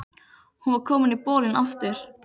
Hún var komin í bolinn aftur.